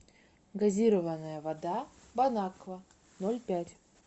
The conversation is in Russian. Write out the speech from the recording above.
газированная вода бонаква ноль пять